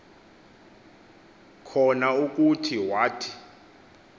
khona ukuthi wathi